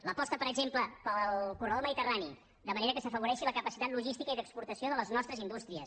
l’aposta per exemple pel corredor mediterrani de manera que s’afavoreixi la capacitat logística i d’exportació de les nostres indústries